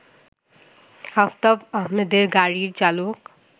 আফতাব আহমেদের গাড়ির চালক